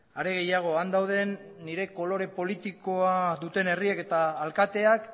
are gehiago han dauden nire kolore politikoa duten herriek eta alkateak